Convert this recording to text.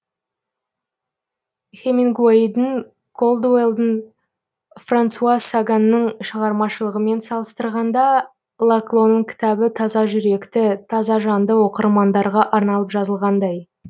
хемингуэйдің колдуэллдің франсуа саганның шығармашылығымен салыстырғанда лаклоның кітабы таза жүректі таза жанды оқырмандарға арналып жазылғандай